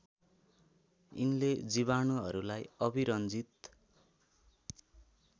यिनले जीवाणुहरूलाई अभिरञ्जित